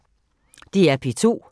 DR P2